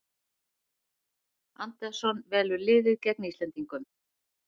Andersson velur liðið gegn Íslendingum